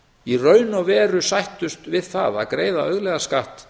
í raun og veru sættu við það að greiða auðlegðarskatt